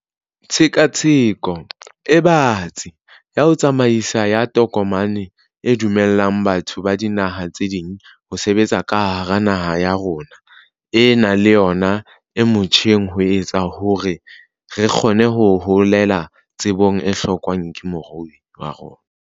Tshekatsheko e batsi ya tsamaiso ya tokomane e dumellang batho ba dinaha tse ding ho sebetsa ka hara naha ena le yona e motjheng ho etsa hore re kgone ho hohela tsebo e hlokwang ke moruo wa rona.